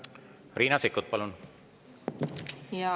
Riina Sikkut, palun!